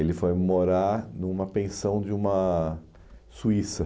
Ele foi morar numa pensão de uma suíça.